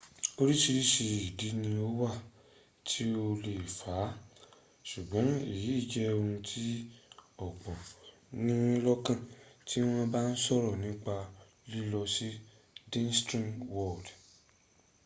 orírìíríṣìí ìdí ni ó wà tí o lè fà á ṣùgbọ́n èyí jẹ́ ohun tí ọ̀pọ̀ ní lọ́kàn tí wọ́n ba ń sọ̀rọ̀ nípa lílọ sí disney world